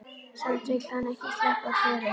Samt vill hann ekki sleppa Klöru.